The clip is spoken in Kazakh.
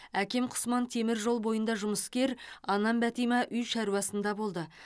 әкем құсман темір жол бойында жұмыскер анам бәтима үй шаруасында болды